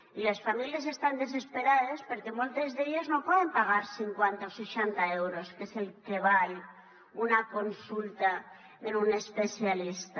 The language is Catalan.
i les famílies estan desesperades perquè moltes d’elles no poden pagar cinquanta o seixanta euros que és el que val una consulta en un especialista